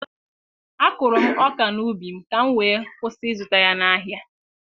A kụrụ m ọka n'ubi m, ka m wee kwụsị ịzụta ya n'ahịa.